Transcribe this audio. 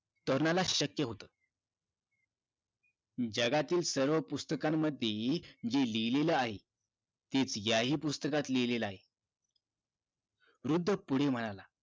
तरुणाला शक्य होत जगातील सर्व पुस्तकामध्ये जे लिहिलं आहे तेच या हि पुस्तकात लिहिलं आहे वृद्ध पुढं म्हणाला